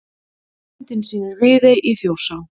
Myndin sýnir Viðey í Þjórsá.